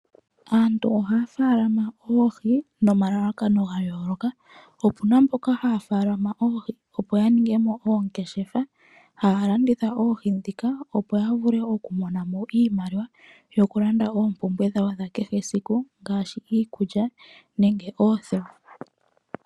Aantu ohafaalama oohi nomalalakano gayooloka, opuna mbono haafalama oohi opo ya ninge mo oongeshefa haalanditha oohi opo yiimonene iimaliwa yokulanda oompumbwe dhakehe siku ngaashi iikulya nenge oothewa.